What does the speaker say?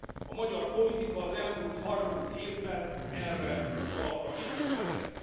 A magyar politika az elmúlt harminc évben erre az alapra építkezett.